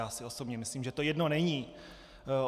Já si osobně myslím, že to jedno není.